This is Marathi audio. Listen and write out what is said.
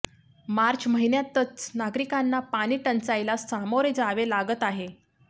मार्च महिन्यातच नागरिकांना पाणीटंचाईला सामोरे जावे लागत आहे